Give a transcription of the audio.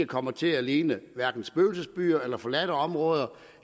kommer til at ligne spøgelsesbyer forladte områder